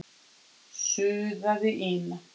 suðaði Ína.